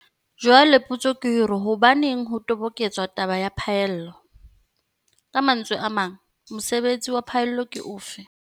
Jwale potso ke hore hobaneng ho toboketswa taba ya phaello? Ka mantswe a mang, mosebetsi wa phaello ke ofe?